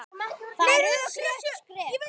Það er rökrétt skref.